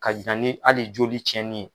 Ka na ni hali joli tiɲɛni ye.